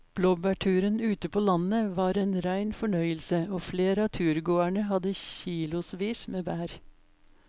Blåbærturen ute på landet var en rein fornøyelse og flere av turgåerene hadde kilosvis med bær.